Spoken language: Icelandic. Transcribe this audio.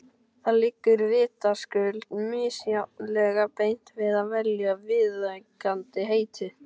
Það liggur vitaskuld misjafnlega beint við að velja viðeigandi heiti.